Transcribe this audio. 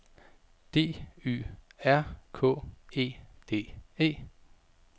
D Y R K E D E